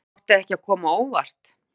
Átti ekki að koma á óvart